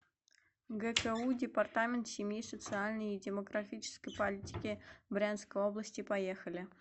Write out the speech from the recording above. гку департамент семьи социальной и демографической политики брянской области поехали